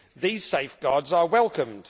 These safeguards are welcomed.